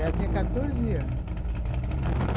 Ela tinha quatorze anos.